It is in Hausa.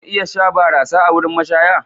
Za mu iya sha barasa a wurin mashaya?